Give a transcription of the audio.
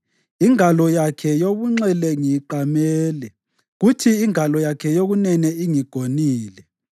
Ingalo yakhe yobunxele ngiyiqamele kuthi ingalo yakhe yokunene ingigonile.